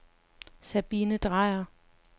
Sabine Drejer